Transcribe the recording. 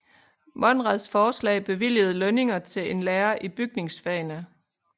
Monrads forslag bevilgede lønning til en lærer i bygningsfagene